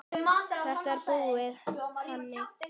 Þetta er búið, Hemmi.